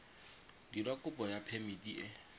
dira kopo ya phemiti e